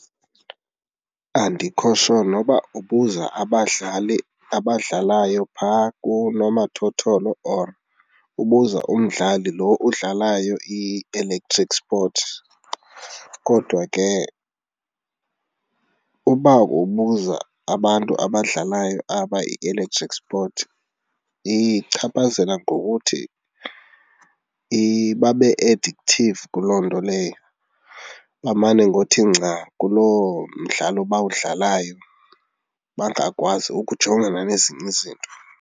Andikho sho noba ubuza abadlali abadlalayo phaa kunomathotholo or ubuza umdlali lo udlalayo i-electric sport kodwa ke uba ubuza abantu abadlalayo aba i-electrical sport, ichaphazela ngokuthi babe addictive kuloo nto leyo, bamane ngothi nca kulo mdlalo abawudlalayo bangakwazi ukujongana nezinye izinto.